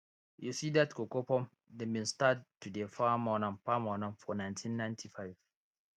you see dat cocoa farm dem bin start to dey farm on am farm on am for nineteen ninety five